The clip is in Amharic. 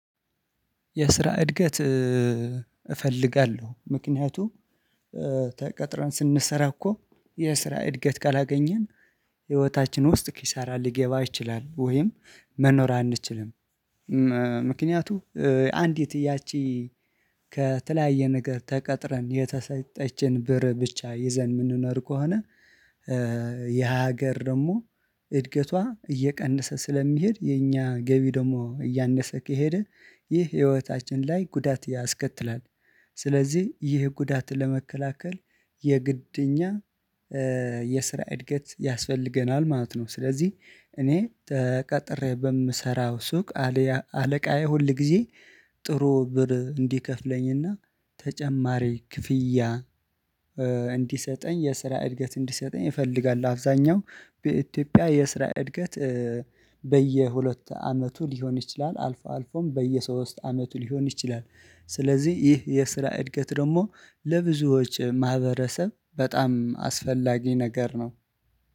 የስራ እድገት እፈልጋለሁ ምክንያቱም ተቀጥረን ስንሰራ እኮ የስራ እድገት ካላገኘን ህይወታችን ውስጥ ኪሳራ ሊገባ ይችልም ወይም መኖር አንችልም። ምክንያቱም አንዲት ያቺ ከተለያየ ነገር ተቀጥረን የተሰጠችን ብር ብቻ ይዘን የምንኖር ከሆነ የሀገር ደግሞ እድገቷ እየቀነሰ ስለሚሄድ የኛ ገቢ ደግሞ እያነሰ ከሄደ ይህ ህይወታችን ላይ ጉዳት ያስከትላል። ስለዚህ ይህ ጉዳት ለመከላከል የግድኛ የስራ እድገት ያስፈልገናል ማለት ነው። ስለዚህ እኔ ተቀጥሬ በምሰራው ሱቅ አለቃዬ ሁል ጊዜ ጥሩ ብር እንዲከፍለኝና ተጨማሪ ክፍያ እንዲሰጠኝ የስራ እድገት እንዲሰጠኝ ይፈልጋል። አብዛኛው በኢትዮጵያ የስራ እድገት በየሁለት አመቱ ሊሆን ይችላል አልፎ አልፎም በየሶስት አመቱ ሊሆን ይችላል። ስለዚህ ይህ የስራ እድገት ደግሞ ለብዙዎች ማህበረሰብ በጣም አስፈላጊ ነገር ነው